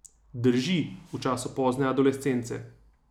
Drži, v času pozne adolescence.